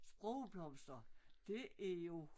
Sprogblomster det er jo